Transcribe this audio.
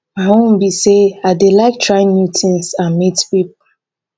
my own be say i dey like try new things and meet people.